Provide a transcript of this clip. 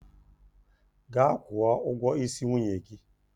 Gaa kwuọ ụgwọ isi nwunye gị!